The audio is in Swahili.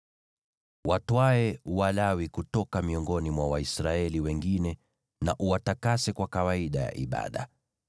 “Watwae Walawi kutoka miongoni mwa Waisraeli wengine na uwatakase kwa kawaida ya ibada.